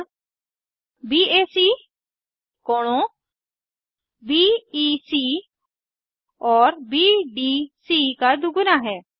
कोण बैक कोणों बीईसी और बीडीसी का दुगुना है